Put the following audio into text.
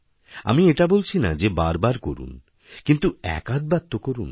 আমিএটা বলছি না যে বার বার করুন কিন্তু একআধবার তো করুন